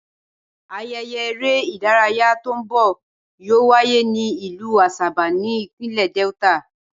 Ayeye ere idaraya to n bọ yoo waye ni ilu Asaba ni ipinlẹ Delta.